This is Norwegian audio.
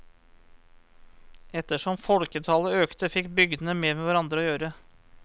Etter som folketallet økte, fikk bygdene mer med hverandre å gjøre.